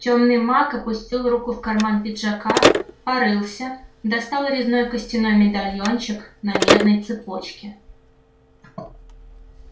тёмный маг опустил руку в карман пиджака порылся достал резной костяной медальончик на медной цепочке